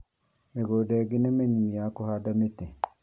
Mĩgũnda ĩngĩ nĩ minini ya kũhanda mĩtĩ